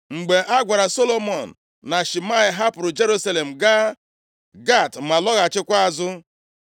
Mgbe a gwara Solomọn na Shimei hapụrụ Jerusalem gaa Gat ma lọghachikwa azụ,